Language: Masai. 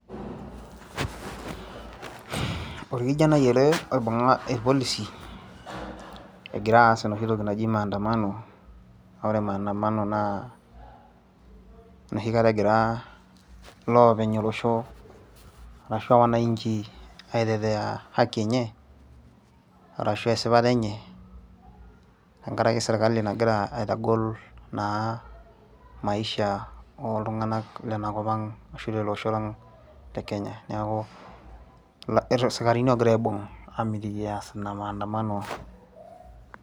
Orkijanai ele oibung'a irpolisi egira aas enoshi toki naji maandamano ore maandamano naa enoshikata egira iloopeny olosho arashu wananchi aitetea haki enye arashu aa esipata enye tenkaraki sirkali nagira aitagol naa maisha oltung'anak lenakop ang' ashu lele osho lang' le Kenya, neeku isikarini ogira aibung' aamitiki ees ina maandamano.